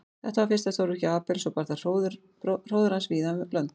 Þetta var fyrsta stórvirki Abels og bar það hróður hans víða um lönd.